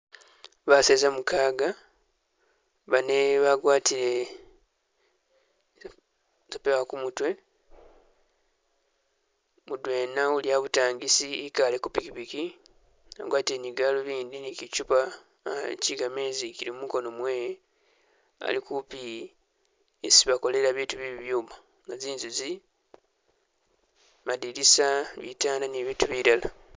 Baseza mukaga, bane bagwatile zi sepewa kumutwe mudwena uli abutangisi ikaale kupikipiki wagwatile kalubindi ni tsichupa ze'kamezi izili mukono mwewe ali'kumpi isi bakolela biitu bye'bibyuma, nga zinzu izi madinisa ni bibindu bilala